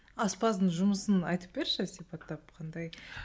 аспаздың жұмысын айтып берші сипаттап қандай